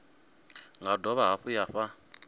nga dovha hafhu ya fha